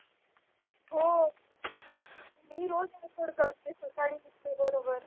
हो मी रोज़ भूड़ भूड़ करते हं. सकाळीच उठते बरोबर.